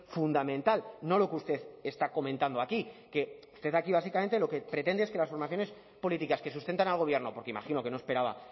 fundamental no lo que usted está comentando aquí que usted aquí básicamente lo que pretende es que las formaciones políticas que sustentan al gobierno porque imagino que no esperaba